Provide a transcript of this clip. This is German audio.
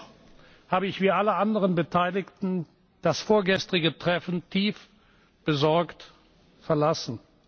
Dennoch habe ich wie alle anderen Beteiligten das vorgestrige Treffen tief besorgt verlassen.